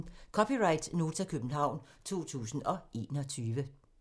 (c) Nota, København 2021